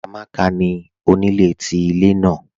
Amàkà ni onílẹ̀ tí ilẹ̀ naà